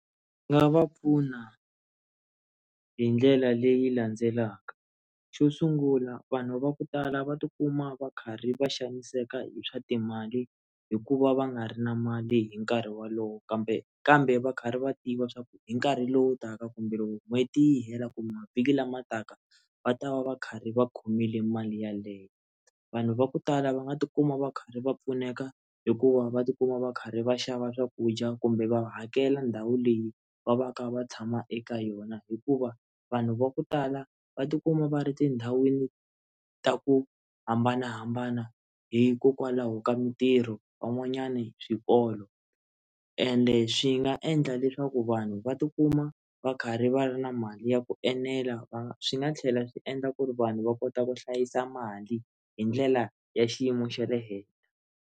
Ndzi nga va pfuna hi ndlela leyi landzelaka xo sungula vanhu va ku tala va tikuma va karhi va xaniseka hi swa timali hikuva va nga ri na mali hi nkarhi wolowo kambe kambe va karhi va tiva swaku hi nkarhi lowu taka kumbe loko n'hweti yi hela kumbe mavhiki lama taka va ta va va karhi va khomile mali yaleyo vanhu va ku tala va nga tikuma va karhi va pfuneka hikuva va tikuma va karhi va xava swakudya kumbe va hakela ndhawu leyi va va kha va tshama eka yona hikuva vanhu va ku tala va tikuma va ri tindhawini ta ku hambanahambana hikokwalaho ka mitirho van'wanyani swikolo ende swi nga endla leswaku vanhu va tikuma va karhi va ri na mali ya ku enela va swi nga tlhela swi endla ku ri vanhu va kota ku hlayisa mali hi ndlela ya xiyimo xa le henhla.